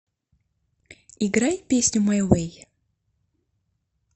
играй песню май вэй